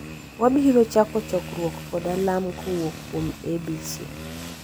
Wabiro chako chokruok kod alam kowuok kuom Abc